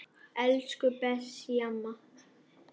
Elsku Bessý amma.